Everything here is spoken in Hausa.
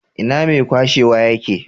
Ina mai kwashewa ye ke?